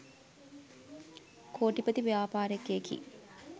කෝටිපති ව්‍යාපාරිකයෙකි.